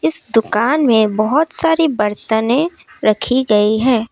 इस दुकान में बहुत सारी बर्तनें रखी गई हैं।